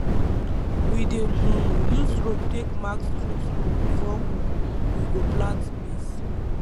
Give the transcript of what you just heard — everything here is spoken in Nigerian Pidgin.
we dey um use rope take mark straight row before um we go plant maize